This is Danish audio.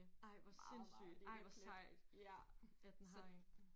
Ej hvor sindssygt ej hvor sejt at den har én